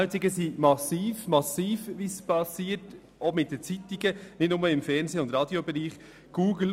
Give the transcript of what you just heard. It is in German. Die Umwälzungen, die auch bei den Zeitungen und nicht nur im Fernseh- und Radiobereich stattfinden, sind massiv.